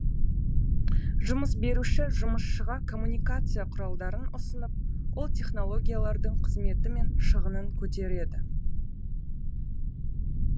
жұмыс беруші жұмысшыға коммуникация құралдарын ұсынып ол технологиялардың қызметі мен шығынын көтереді